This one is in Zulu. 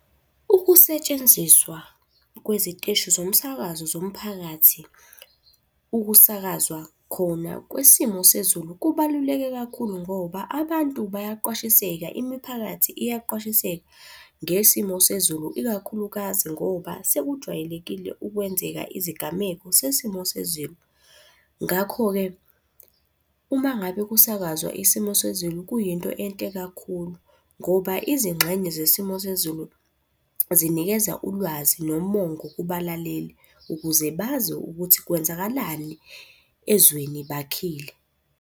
Ukusetshenziswa kweziteshi zomsakazo zomphakathi, ukusakazwa khona kwesimo sezulu kubaluleke kakhulu ngoba abantu bayaqwashiseka, imiphakathi iyaqwashiseka ngesimo sezulu ikakhulukazi ngoba sekujwayelekile ukwenzeka izigameko sesimo sezulu. Ngakho-ke uma ngabe kusakazwa isimo sezulu kuyinto enhle kakhulu ngoba izingxenye zesimo sezulu zinikeza ulwazi nomongo kubalaleli, ukuze bazi ukuthi kwenzakalani ezweni bakhile.